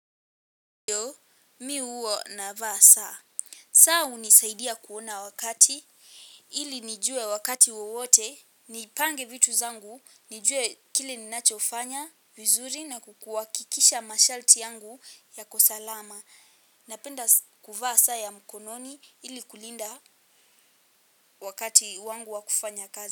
Ndiyo, mimi huwa navaa saa. Saa hunisaidia kuona wakati, ili nijue wakati wowote, nipange vitu zangu, nijue kile ninachofanya vizuri na kukuhakikisha masharti yangu yako salama. Napenda kuvaa saa ya mkononi ili kulinda wakati wangu wa kufanya kazi.